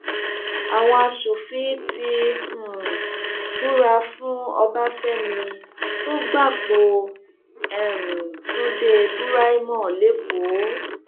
àwọn asòfin ti um búra fún ọbáfẹmi tó gbapò um tunde buraimoh lẹkọọ